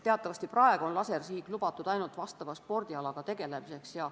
Teatavasti on praegu lasersihik lubatud ainult vastava spordialaga tegelemisel.